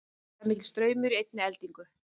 hvað er mikill straumur í einni eldingu